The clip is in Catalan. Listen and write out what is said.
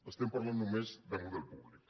estem parlant només de model públic